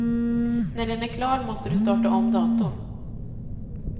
När den är klar måste du starta om datorn.